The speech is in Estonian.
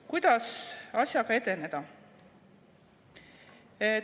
Kuidas asjaga edeneda?